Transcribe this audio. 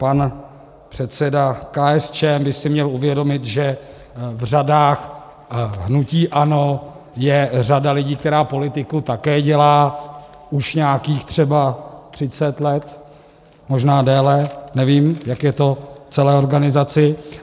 Pan předseda KSČM by si měl uvědomit, že v řadách hnutí ANO je řada lidí, která politiku také dělá už nějakých třeba 30 let, možná déle, nevím, jak je to v celé organizaci.